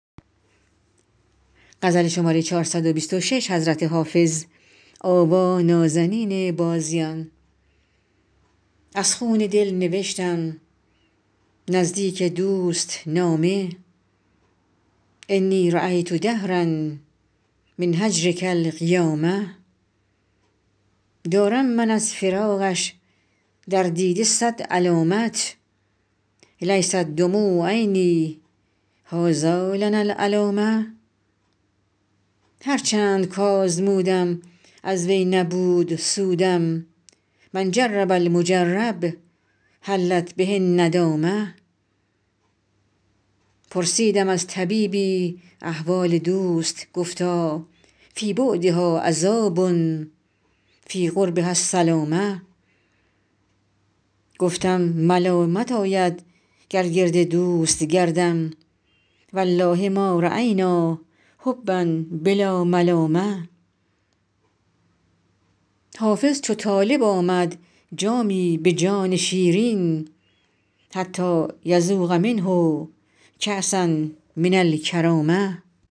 از خون دل نوشتم نزدیک دوست نامه انی رأیت دهرا من هجرک القیامه دارم من از فراقش در دیده صد علامت لیست دموع عینی هٰذا لنا العلامه هر چند کآزمودم از وی نبود سودم من جرب المجرب حلت به الندامه پرسیدم از طبیبی احوال دوست گفتا فی بعدها عذاب فی قربها السلامه گفتم ملامت آید گر گرد دوست گردم و الله ما رأینا حبا بلا ملامه حافظ چو طالب آمد جامی به جان شیرین حتیٰ یذوق منه کأسا من الکرامه